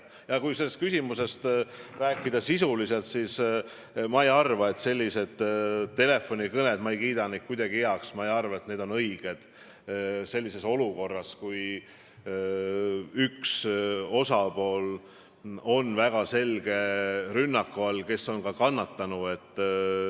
Kui sellest küsimusest sisuliselt rääkida, siis ma ei kiida selliseid telefonikõnesid kuidagi heaks, ma ei arva, et need on õiged olukorras, kui üks osapool, kes on ilmselt kannatanu, on väga selge rünnaku all.